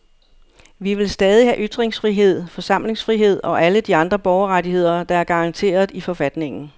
Vi vil stadig have ytringsfrihed, forsamlingsfrihed og alle de andre borgerrettigheder, der er garanteret i forfatningen.